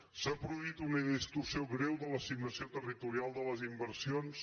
s’ha produït una distorsió greu de l’assignació territo·rial de les inversions